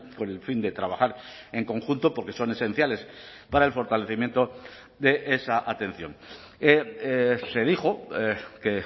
con el fin de trabajar en conjunto porque son esenciales para el fortalecimiento de esa atención se dijo que